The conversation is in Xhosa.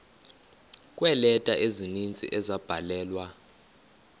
kweeleta ezininzi ezabhalelwa